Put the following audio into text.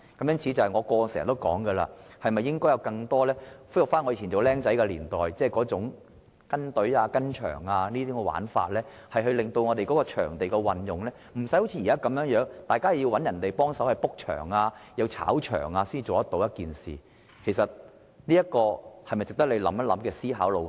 因此，我過去經常說，應該恢復我年輕時代這種在球場"跟隊"的做法，令場地運用不需要好像現在般，大家要找別人幫忙預訂場地，甚至會出現"炒場"的情況，這是一個值得局長思考的路向。